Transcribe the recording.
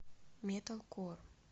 металкор